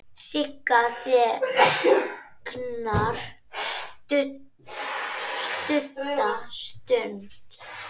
Sigga þagnar stutta stund.